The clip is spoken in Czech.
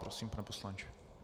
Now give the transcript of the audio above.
Prosím, pane poslanče.